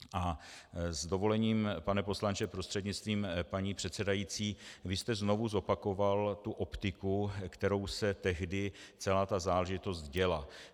A s dovolením, pane poslanče prostřednictvím paní předsedající, vy jste znovu zopakoval tu optiku, kterou se tehdy celá ta záležitost děla.